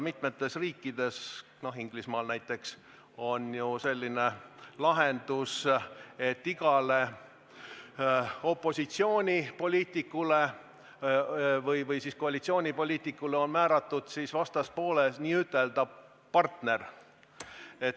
Mitmes riigis, Inglismaal näiteks, on selline lahendus, et igale opositsioonipoliitikule või koalitsioonipoliitikule on määratud vastaspooles n-ö partner.